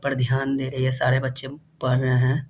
पर ध्यान दे रहीये सारे बच्चे पढ़ रहे हैं।